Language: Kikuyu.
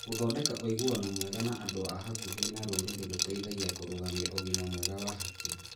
Gũthondeka ũiguano mwega na andũ a hakuhĩ na rũrĩrĩ gũteithagia kũrũgamia ũgima mwega wa hakiri.